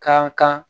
Kan kan